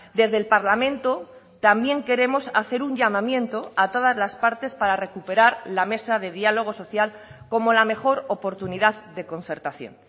desde el parlamento también queremos hacer un llamamiento a todas las partes para recuperar la mesa de diálogo social como la mejor oportunidad de concertación